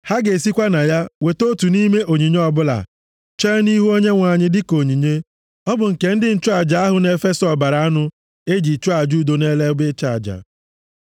Ha ga-esikwa na ya weta otu nʼime onyinye ọbụla, chee nʼihu Onyenwe anyị, dịka onyinye. Ọ bụ nke ndị nchụaja ahụ na-efesa ọbara anụ e ji chụọ aja udo nʼelu ebe ịchụ aja.